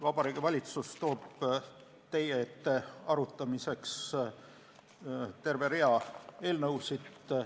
Vabariigi Valitsus toob teie ette arutamiseks terve rea eelnõusid.